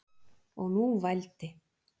Og nú vældi